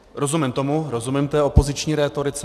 Rozumím tomu, rozumím té opoziční rétorice.